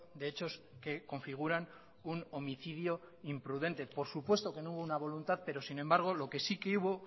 de hechos que configuran un homicidio imprudente por supuesto que no hubo una voluntad pero sin embargo lo que sí que hubo